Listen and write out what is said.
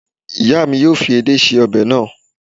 Ìyá mi yóò fi edé ṣe ọbẹ̀ náà